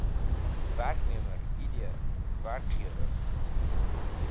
werknemer id werkgewer